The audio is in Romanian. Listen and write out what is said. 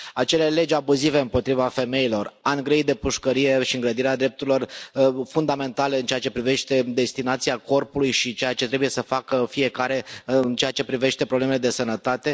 acele legi abuzive împotriva femeilor ani grei de pușcărie și îngrădirea drepturilor fundamentale în ceea ce privește destinația corpului și ceea ce trebuie să facă fiecare în ceea ce privește problemele de sănătate.